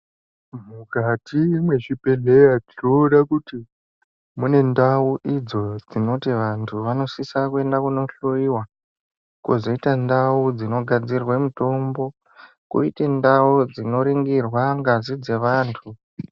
Mukati mwezvibhedhleya tinoona kuti mune ndau idzo dzinoti vantu vanosisa kuenda kunohloyiwa, kozoita ndau dzinogadzirwe mitombo, koite ndau dzinoringirwe ngazi dzevantu.